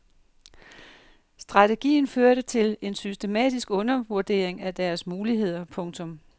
Strategien førte til en systematisk undervurdering af deres muligheder. punktum